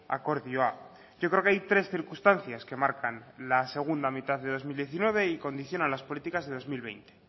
akordioa yo creo que hay tres circunstancias que marcan la segunda mitad de dos mil diecinueve y condicionan las políticas de dos mil veinte